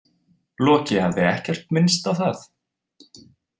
Loki hafði ekkert minnst á það.